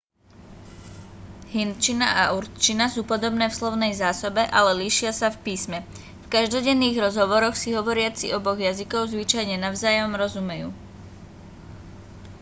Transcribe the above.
hindčina a urdčina sú podobné v slovnej zásobe ale líšia sa v písme v každodenných rozhovoroch si hovoriaci oboch jazykov zvyčajne navzájom rozumejú